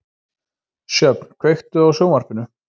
Sjöfn, kveiktu á sjónvarpinu.